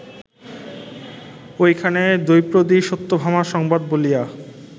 ঐখানে দ্রৌপদীসত্যভামা সংবাদ বলিয়া